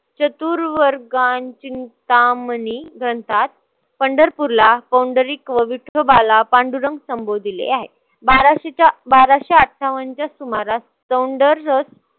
चतुर वर्गांचिंतामणी घनतात. पंढरपूरला कोंढरीक व विठोबाला पांडुरंग संबोधिले आहे. बाराशेच्या बाराशे अठ्ठावन्नच्या सुमारास चौंडर रस